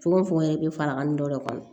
Fogo fogo yɛrɛ bɛ fara kan dɔ de kɔnɔ